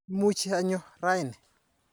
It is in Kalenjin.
Imuch anyo raini.